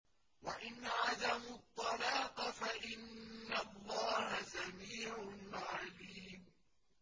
وَإِنْ عَزَمُوا الطَّلَاقَ فَإِنَّ اللَّهَ سَمِيعٌ عَلِيمٌ